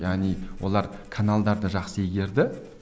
яғни олар каналдарды жақсы игерді